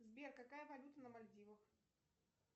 сбер какая валюта на мальдивах